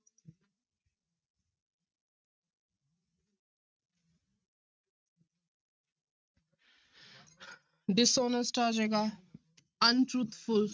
Dishonest ਆ ਜਾਏਗਾ untruthful